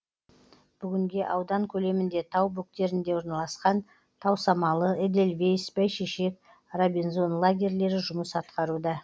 бүгінге аудан көлемінде тау бөктерінде орналасқан тау самалы эдельвейс бәйшешек робинзон лагерлері жұмыс атқаруда